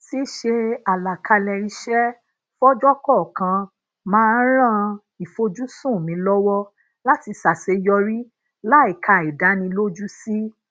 sise alakale ise fojo kọọkan maa n ran ifojusun mi lowo lati saseyori láìka àìdánilójú sí